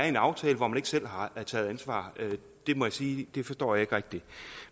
en aftale hvor man ikke selv har taget ansvar jeg må sige at det forstår jeg ikke rigtig